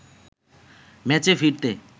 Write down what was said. ম্যাচে ফিরতে